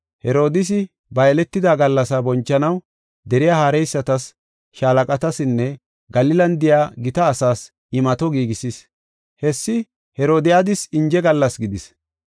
Herodiisi ba yeletida gallasa bonchanaw deriya haareysatas, shaalaqatasinne Galilan de7iya gita asaas imato giigisis. Hessi Herodiyadas inje gallas gidis.